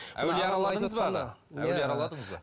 әулие араладыңыз ба